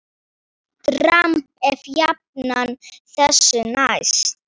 Dramb er jafnan þessu næst.